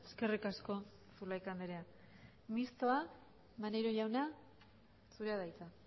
eskerrik asko zulaika andrea mistoa maneiro jauna zurea da hitza